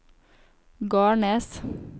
Garnes